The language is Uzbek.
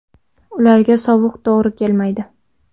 Ularga sovuq to‘g‘ri kelmaydi.